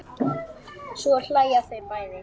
Svo hlæja þau bæði.